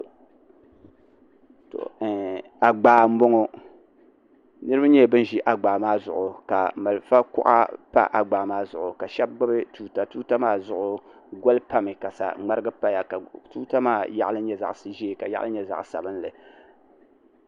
agbaa n boŋo niraba nyɛla bin ʒi agbaa maa zuɣu ka marafa kuɣa pa agbaa maa zuɣu ka shab gbubi tuuta tuuta maa zuɣu goli pami ka saŋmarigi paya ka tuuta maa yaɣali nyɛ zaɣ ʒiɛ ka yaɣali nyɛ zaɣ sabinli